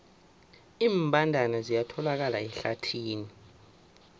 iimbandana ziyatholakala ehlathini